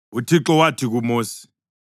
UThixo wathi kuMosi,